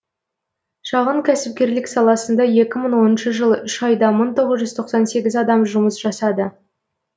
шағын кәсіпкерлік саласында екі мың оныншы жылы үш айда мың тоғыз жүз сексен адам жұмыс жасады